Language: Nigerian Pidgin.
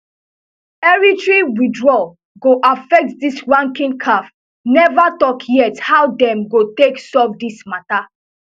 eritrea withdrawal go affect dis rankings caf neva tok yet how dem go take solve dis matter